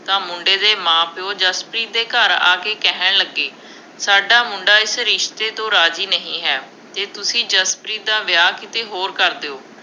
ਤਾਂ ਮੁੰਡੇ ਦੇ ਮਾਂ-ਪਿਉ ਜਸਪ੍ਰੀਤ ਦੇ ਘਰ ਆ ਕੇ ਕਹਿਣ ਲੱਗੇ, ਸਾਡਾ ਮੁੰਡਾ ਇਸ ਰਿਸ਼ਤੇ ਤੋਂ ਰਾਜ਼ੀ ਨਹੀਂ ਹੈ, ਜੇ ਤੁਸੀਂ ਜਸਪ੍ਰੀਤ ਦਾ ਵਿਆਹ ਕਿਤੇ ਹੋਰ ਕਰ ਦਿਓ।